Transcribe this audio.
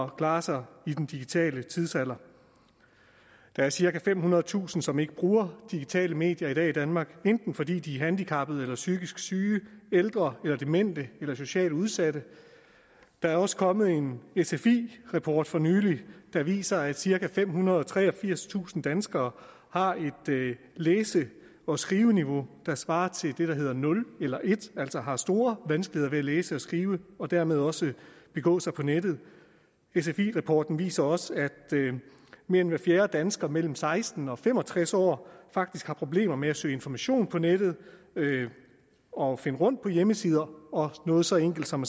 klare sig i den digitale tidsalder der er cirka femhundredetusind som ikke bruger digitale medier i dag i danmark enten fordi de er handicappede eller psykisk syge ældre eller demente eller socialt udsatte der er også kommet en sfi rapport for nylig der viser at cirka femhundrede og treogfirstusind danskere har et læse og skriveniveau der svarer til det der hedder nul eller en altså har store vanskeligheder ved at læse og skrive og dermed også begå sig på nettet sfi rapporten viser også at mere end hver fjerde dansker mellem seksten og fem og tres år faktisk har problemer med at søge information på nettet og finde rundt på hjemmesider og noget så enkelt som